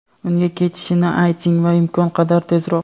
Unga ketishini ayting va imkon qadar tezroq.